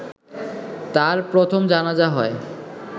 তার প্রথম জানাযা হয়